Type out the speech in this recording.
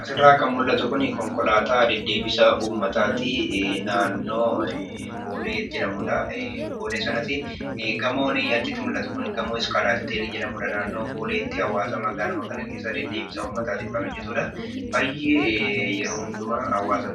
Asirraa kan mul'atu kun konkolaataa deddeebisa uummataati. Naannoo boolee jedhamudha. Gamoon achitti mul'atu kun gamoo 'skylight hotel' jedhamudha. Naannoo booleetti hawaasa magaaluma kana keessa deddeebisa uummataatiif kan hojjatudha. Baay'ee yeroo hundumaa hawaasa